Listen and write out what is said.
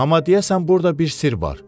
Amma deyəsən burda bir sirr var.